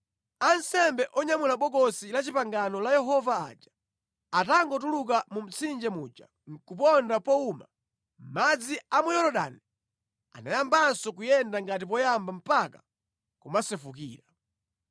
Ansembe onyamula Bokosi la Chipangano la Yehova aja atangotuluka mu mtsinje muja nʼkuponda powuma, madzi a mu Yorodani anayambanso kuyenda ngati poyamba mpaka kumasefukira.